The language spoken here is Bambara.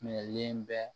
Minɛlen bɛ